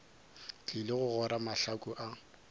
tlile go ora mahlaku a